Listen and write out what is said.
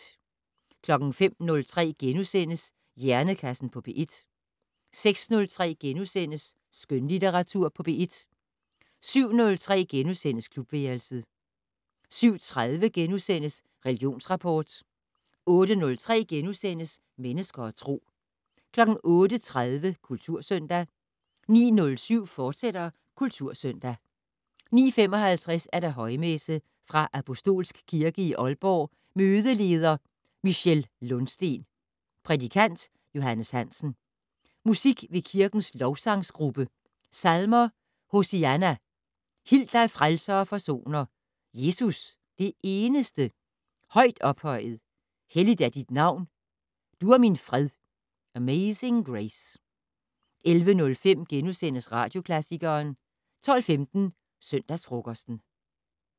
05:03: Hjernekassen på P1 * 06:03: Skønlitteratur på P1 * 07:03: Klubværelset * 07:30: Religionsrapport * 08:03: Mennesker og Tro * 08:30: Kultursøndag 09:07: Kultursøndag, fortsat 09:55: Højmesse - Fra Apostolsk Kirke i Aalborg Mødeleder: Michelle Lundsteen. Prædikant: Johannes Hansen. Musik ved kirkens Lovsangsgruppe. Salmer: "Hosianna". "Hil dig frelser og forsoner". "Jesus, det eneste". "Højt ophøjet". "Helligt er dit navn". "Du er min fred". "Amazing Grace". 11:05: Radioklassikeren * 12:15: Søndagsfrokosten